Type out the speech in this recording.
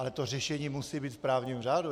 Ale to řešení musí být v právním řádu.